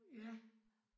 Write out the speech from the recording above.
Ja